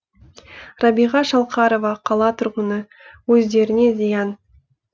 рабиға шалқарова қала тұрғыны өздеріне зиян